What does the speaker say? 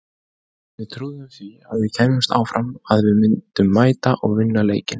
Við trúðum því að við kæmumst áfram, að við myndum mæta og vinna leikinn.